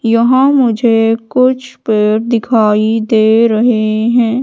यहां मुझे कुछ पेड़ दिखाई दे रहे है।